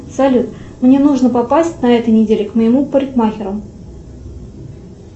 салют мне нужно попасть на этой неделе к моему парикмахеру